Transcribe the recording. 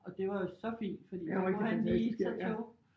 Og det var jo så fint fordi så kunne han lige tage tog